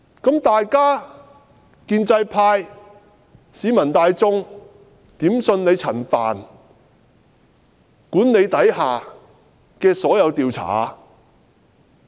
請問建制派，市民大眾如何能相信在陳帆管理下的所有調查？